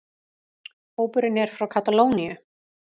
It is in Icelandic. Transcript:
Hópurinn er frá Katalóníu